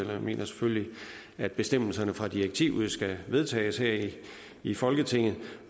jeg mener selvfølgelig at bestemmelserne fra direktivet skal vedtages her i folketinget